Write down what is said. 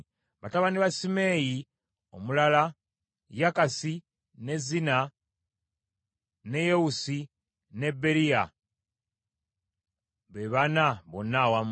Batabani ba Simeeyi omulala Yakasi, ne Zina, ne Yewusi ne Beriya, be bana bonna awamu.